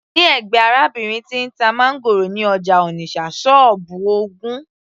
ní ẹ̀gbẹ́ arábìnrin tí ń ta máńgòrò ní ọjà Onitsha, sọ́ọ́bù ogún